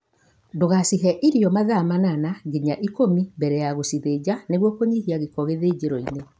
Ndũgashihe irio mathaa manana nginya ikũmi mbele ya gũshithĩnja nĩguo kũnyihia gĩko gĩthĩnjĩroinĩ